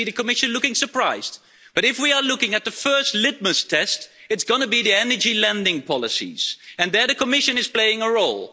And I see the Commission looking surprised, but if we are looking at the first litmus test, it's going to be the energy lending policies, and there the Commission is playing a role.